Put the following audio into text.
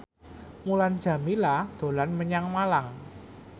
Mulan Jameela dolan menyang Malang